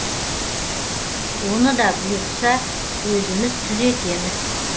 оны да бұйыртса өзіміз түзетеміз